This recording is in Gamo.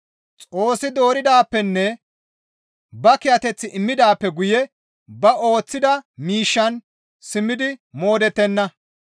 Xoossi dooridaappenne ba kiyateth immidaappe guye ba ooththida miishshan simmidi modhettenna.